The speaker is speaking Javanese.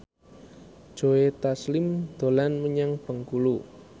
Joe Taslim dolan menyang Bengkulu